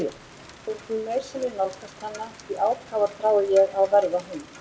Og því meir sem ég nálgast hana því ákafar þrái ég að verða hún.